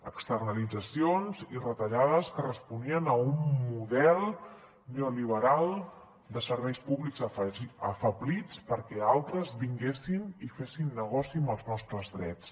externalitzacions i retallades que responien a un model neoliberal de serveis públics afeblits perquè altres vinguessin i fessin negoci amb els nostres drets